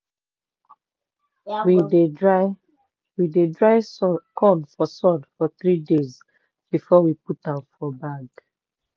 we dey dry we dey dry corn for sun for three days before we dey put am for bag.